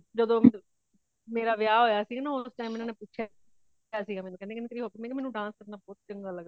ਜਦੋ ਮੇਰਾ ਵਿਹਾ ਹੋਇਆ ਸੀ ਉਸ time ਏਨਾ ਨੇ ਪੁੱਛਿਆ ਸੀ ਮੇਨੂ ਕੇਂਦੇ ਤੇਰੀ hobby ਮੈ ਕੀਆ ਮੇਨੂ dance ਕਰਨਾ ਬਹੁਤ ਚੰਗਾ ਲੱਗਦਾ।